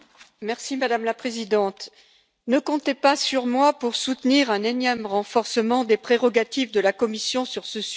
Madame la Présidente, ne comptez pas sur moi pour soutenir un énième renforcement des prérogatives de la Commission sur ce sujet.